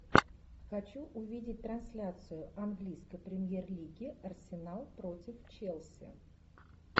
хочу увидеть трансляцию английской премьер лиги арсенал против челси